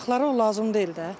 Uşaqlara o lazım deyil də.